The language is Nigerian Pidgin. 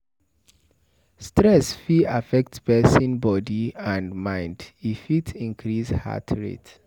Stress fit affect person body and mind,e fit increase heart rate